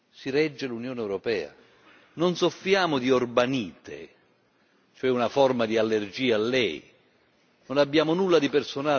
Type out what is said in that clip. Non soffriamo di orbanite, cioè una forma di allergia a lei, non abbiamo nulla di personale nei suoi confronti, assolutamente.